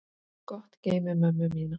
Gott geymi mömmu mína.